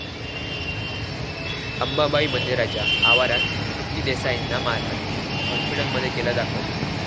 अंबाबाई मंदिराच्या आवरात तृप्ती देसाईंना मारहाण, हाॅस्पिटलमध्ये केलं दाखल